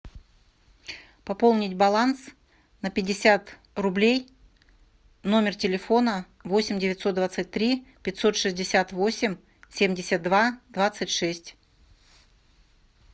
пополнить баланс на пятьдесят рублей номер телефона восемь девятьсот двадцать три пятьсот шестьдесят восемь семьдесят два двадцать шесть